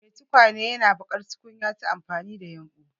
Mai tukwane yana yin baƙar tukunya ta amfani da yumbu.